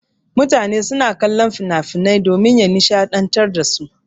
Mutane suna kallon finafinan domin ya nishaɗantar dasu.